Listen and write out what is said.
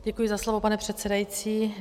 Děkuji za slovo, pane předsedající.